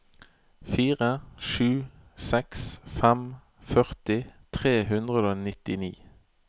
fire sju seks fem førti tre hundre og nittini